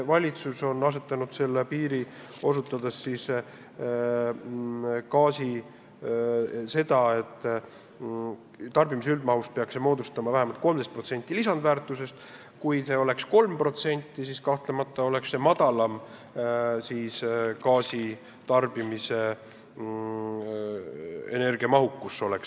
Valitsus on arvanud, et tarbitava gaasi maksumuse osakaal võrreldes loodud lisandväärtusega peaks olema vähemalt 13%.